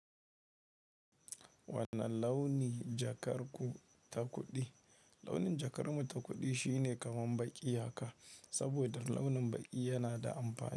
Wane launi jakar ku ta kuɗi? Launin jakar mu ta kuɗi shine kamar baƙi haka, saboda launin baƙi yana da amfani.